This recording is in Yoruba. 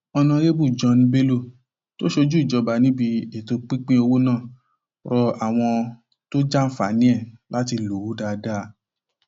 ọnàrẹbù john bello tó ṣojú ìjọba níbi ètò pinpin owó náà rọ àwọn tó jàǹfààní ẹ láti lò ó dáadáa